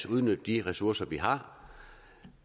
udnytte de ressourcer vi har